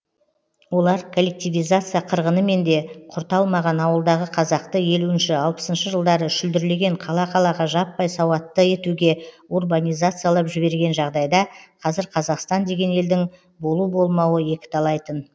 олар коллективизация қырғынымен де құрта алмаған ауылдағы қазақты елуінші алпысыншы жылдары шүлдірлеген қала қалаға жаппай сауатты етуге урбанизациялап жіберген жағдайда қазір қазақстан деген елдің болу болмауы екіталай тын